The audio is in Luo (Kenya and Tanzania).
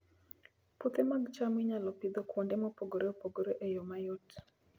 Puothe mag cham inyalo Pidho kuonde mopogore opogore e yo mayot